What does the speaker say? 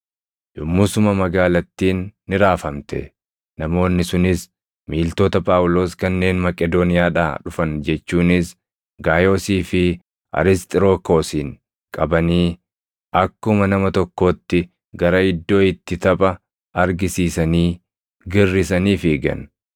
Yommusuma magaalattiin ni raafamte; namoonni sunis miiltota Phaawulos kanneen Maqedooniyaadhaa dhufan jechuunis Gaayoosii fi Arisxirokoosin qabanii akkuma nama tokkootti gara iddoo itti tapha argisiisanii girrisanii fiigan.